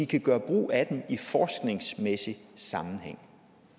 kan gøre brug af dem i forskningsmæssig sammenhæng